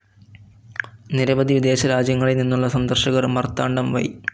നിരവവധി വിദേശ രാജ്യങ്ങളിൽ നിന്നുള്ള സന്ദർശകർ മാർത്താണ്ഡം വൈ.